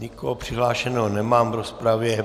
Nikoho přihlášeného nemám v rozpravě.